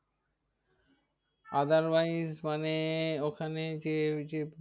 Otherwise মানে ওখানে যে ওইযে